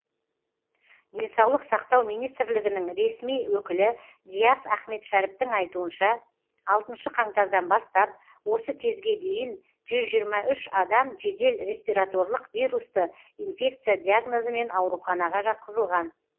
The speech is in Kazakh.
денсаулық сақтау министрлігінің ресми өкілі диас ахметшәріптің айтуынша алтыншы қаңтардан бастап осы кезге дейін жүз жиырма үш адам жедел респираторлық вирусты инфекция диагнозымен ауруханаға жатқызылған